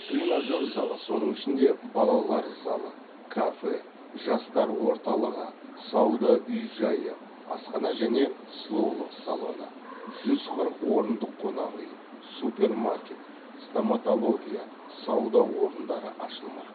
тренажер залы соның ішінде балалар залы кафе жастар орталығы сауда үй жайы асхана және сұлулық салоны жүз қырық орындық қонақ үй супермаркет стоматология сауда орындары ашылмақ